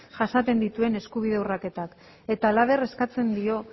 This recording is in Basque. jasaten dituen eskubide urraketak halaber eskatzen dio